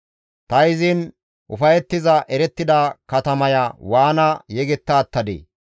Ta izin ufayettiza erettida katamaya waana yegetta attadee?